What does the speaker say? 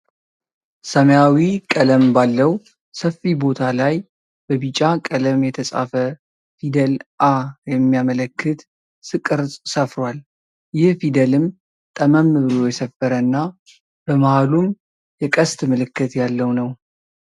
ሰማያዊ ቀለም ባለው ሰፊ ቦታ ላይ በቢጫ ቀለም የተጻፈ ፊደል "ኣ" የሚያመላክት ቅርጽ ሰፍሯል። ይህ ፊደልም ጠመም ብሎ የሰፈረ እና በመሃሉም የቀስት ምልክት ያለው ነው።